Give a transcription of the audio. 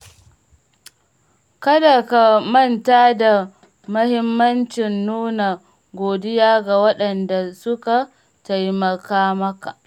Kada ka manta da mahimmancin nuna godiya ga waɗanda suka taimaka maka.